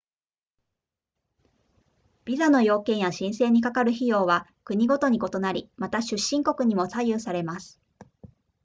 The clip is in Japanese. ビザの要件や申請にかかる費用は国ごとに異なりまた出身国にも左右されます